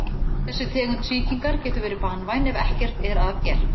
Þessi tegund sýkingar getur verið banvæn ef ekkert er að gert.